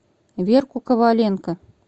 верку коваленко